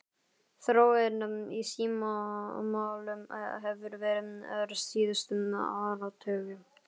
Þróunin í símamálum hefur verið ör síðustu áratugi.